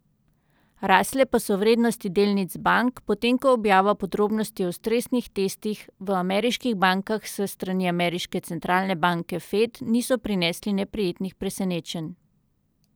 Rasle pa so vrednosti delnic bank, potem ko objava podrobnosti o stresnih testih v ameriških bankah s strani ameriške centralne banke Fed niso prinesli neprijetnih presenečenj.